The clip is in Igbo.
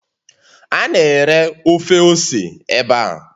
A na-ere ofe ose ebe a.